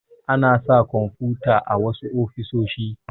Ana sa kwamfuta a wasu ofisoshi.